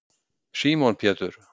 símon pétur